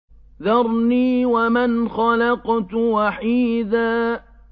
ذَرْنِي وَمَنْ خَلَقْتُ وَحِيدًا